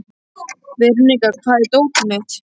Veronika, hvar er dótið mitt?